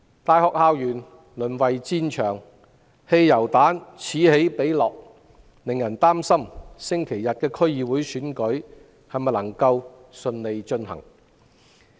大學校園淪為戰場，汽油彈此起彼落，令人擔心星期日的區議會選舉能否順利進行。